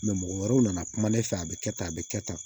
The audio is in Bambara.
mɔgɔ wɛrɛw nana kuma ne fɛ a be kɛ tan a be kɛ tan